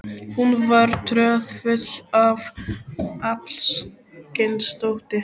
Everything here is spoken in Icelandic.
Hún var troðfull af alls kyns dóti.